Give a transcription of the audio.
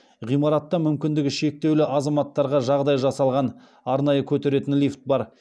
ғимаратта мүмкіндігі шектеулі азаматтарға жағдай жасалған арнайы көтеретін лифт бар